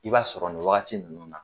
I b'a sɔrɔ nin wagati ninnu na